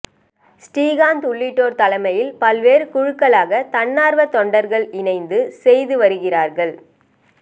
ஸ்ரீகாந்த் உள்ளிட்டோர் தலைமையில் பல்வேறு குழுக்களாக தன்னார்வ தொண்டர்கள் இணைந்து செய்து வருகிறார்கள்